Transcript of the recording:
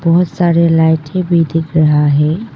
बहोत सारी लाइटें भी दिख रही है।